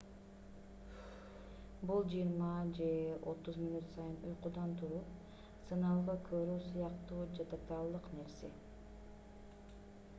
бул жыйырма же отуз мүнөт сайын уйкудан туруп сыналгы көрүү сыяктуу жадатарлык нерсе